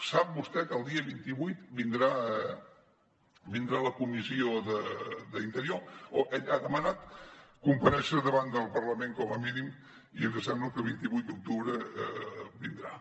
sap vostè que el dia vint vuit vindrà a la comissió d’interior o ell ha demanat comparèixer davant del parlament com a mínim i ens sembla que el vint vuit d’octubre vindrà